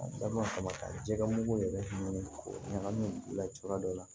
Da ma kama ka jɛgɛ mugu yɛrɛ ɲini k'o ɲagami u la cogoya dɔ la